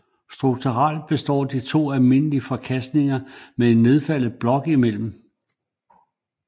Strukturelt består de af to almindelige forkastninger med en nedfaldet blok imellem